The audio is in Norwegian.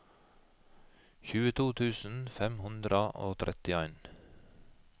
tjueto tusen fem hundre og trettien